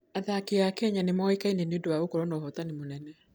Athaki a Kenya nĩ moĩkaine mũno nĩ ũndũ wa gũkorũo na ũhoti mũnene.